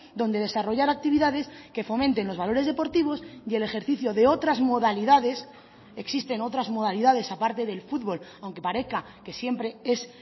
donde desarrollar actividades que fomenten los valores deportivos y el ejercicio de otras modalidades existen otras modalidades aparte del futbol aunque parezca que siempre es